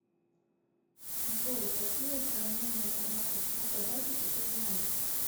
джой какие сравнение форматов звукозаписи ты знаешь